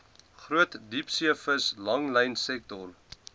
groot diepseevis langlynsektor